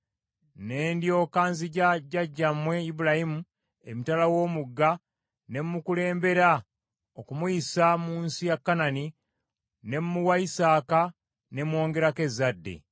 Ne ndyoka nziggya jjajjammwe Ibulayimu emitala w’omugga, ne mmukulembera okumuyisa mu nsi ye Kanani, ne mmuwa Isaaka, ne mwongerako ezzadde.